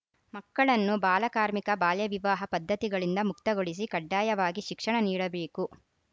ಮಕ್ಕಳನ್ನು ಬಾಲ ಕಾರ್ಮಿಕ ಬಾಲ್ಯ ವಿವಾಹ ಪದ್ಧತಿಗಳಿಂದ ಮುಕ್ತಗೊಳಿಸಿ ಕಡ್ಡಾಯವಾಗಿ ಶಿಕ್ಷಣ ನೀಡಬೇಕು